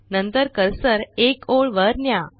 नंतर कर्सर एक ओळ वर न्या